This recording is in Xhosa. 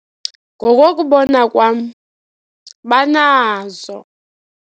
Ngokokubona kwam, banazo.